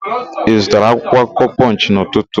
Ị zụtara akwụkwọakụkọ Pọnchị n'ụtụtụ a?